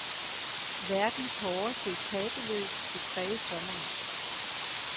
Verdens hårdeste etapeløb vil præge sommeren.